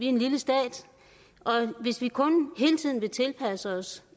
en lille stat og hvis vi kun hele tiden vil tilpasse os